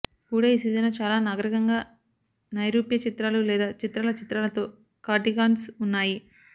కూడా ఈ సీజన్లో చాలా నాగరికంగా నైరూప్య చిత్రాలు లేదా చిత్రాల చిత్రాలతో కార్డిగాన్స్ ఉన్నాయి